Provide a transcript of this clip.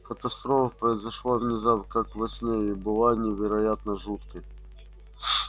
катастрофа произошла внезапно как во сне и была невероятно жуткой